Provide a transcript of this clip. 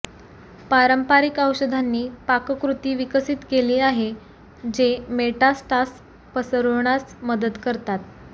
पारंपारिक औषधांनी पाककृती विकसित केली आहे जे मेटास्टास पसरविण्यास मदत करतात